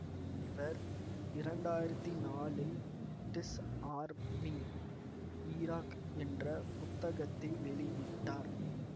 இவர் இரண்டாயிரத்தி நாலில் டிஸ் ஆர்மிங் ஈராக் என்ற புத்தகத்தை வெளியிட்டார்